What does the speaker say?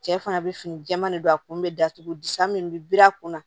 Cɛ fana bɛ fini jɛman de don a kun bɛ datugu di san min bɛ biri a kunna